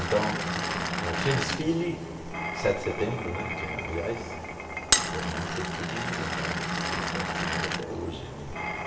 Então, eh tinha desfile sete de setembro né, que aliás, porra, não sei porque que inventaram esse desfile sete de setembro até hoje, eu não entendo.